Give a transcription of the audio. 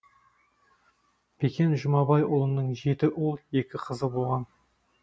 бекен жұмабайұлының жеті ұл екі қызы болған